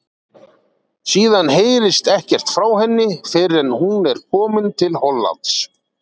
Síðan heyrist ekkert frá henni fyrr en hún er komin til Hollands.